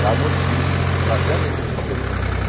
da notícia, trazer a notícia para a pessoa.